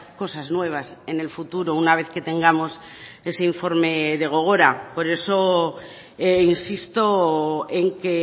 cosas nuevas en el futuro una vez que tengamos ese informe de gogora por eso insisto en que